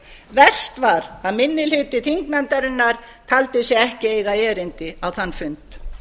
verst var að minni hluti þingnefndarinnar taldi sig ekki eiga erindi á þann fund